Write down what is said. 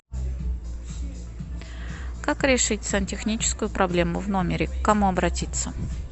как решить сантехническую проблему в номере к кому обратиться